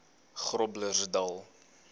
groblersdal